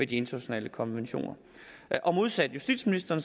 de internationale konventioner modsat justitsministeren